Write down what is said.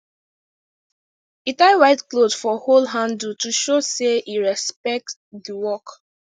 he tie white cloth for hoe handle to show say he respect the work